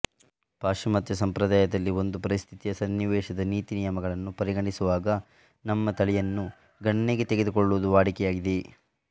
ಪಾಶ್ಚಿಮಾತ್ಯ ಸಂಪ್ರದಾಯದಲ್ಲಿ ಒಂದು ಪರಿಸ್ಥಿತಿಯ ಸನ್ನಿವೇಶದ ನೀತಿನಿಯಮಗಳನ್ನು ಪರಿಗಣಿಸುವಾಗ ನಮ್ಮ ತಳಿಯನ್ನು ಗಣನೆಗೆ ತೆಗೆದುಕೊಳ್ಳುವುದು ವಾಡಿಕೆಯಾಗಿದೆ